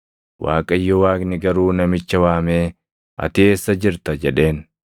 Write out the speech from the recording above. Waaqayyo Waaqni garuu namicha waamee, “Ati eessa jirta?” jedheen.